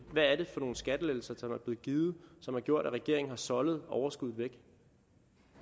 hvad er det for nogle skattelettelser som er blevet givet som har gjort at regeringen har soldet overskuddet væk